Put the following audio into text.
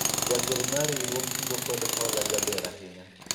jagoro mar riwruog kungo kod hola jaber ahinya